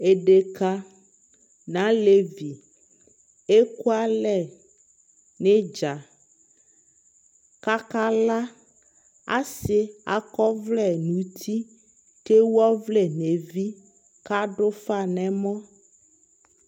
edeka no alevi eku alɛ no idza ko aka la asi akɔ ɔvlɛ no uti ko ewu ɔvlɛ no evi ko ado ufa no ɛmɔ